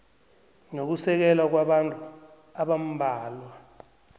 nokusekela kwabantu abambalwa